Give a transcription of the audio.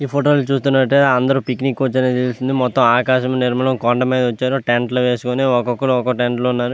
ఈ ఫోటో చూసినట్టు అయతే అందరు పిక్నిక్ కి వచ్చారు మొతం ఆకాశం నిరమలం కొండ మీద వచ్చారు టెంట్ లు వేసుకొని ఒకకరు ఒక ఒక టెంట్ లో ఉన్నారు.